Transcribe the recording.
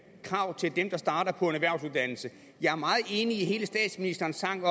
krav til dem der starter på en erhvervsuddannelse jeg er meget enig i statsministerens tanke